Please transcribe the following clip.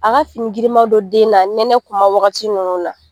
A ka fini girimandon den na nɛnɛ kuma waagati nunnu na.